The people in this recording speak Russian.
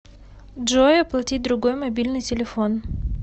джой оплатить другой мобильный телефон